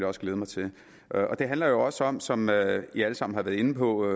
også glæde mig til det handler jo også om som vi alle sammen har været inde på